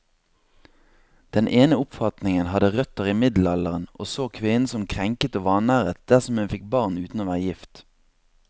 Den ene oppfatningen hadde røtter i middelalderen, og så kvinnen som krenket og vanæret dersom hun fikk barn uten å være gift.